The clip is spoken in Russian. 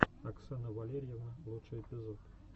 оксана валерьевна лучший эпизод